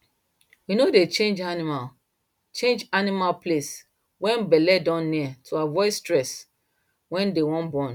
we no dey change animal change animal place when belle don near to avoid stress when they wan born